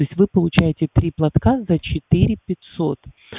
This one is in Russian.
то есть вы получаете три платка за четыре пятьсот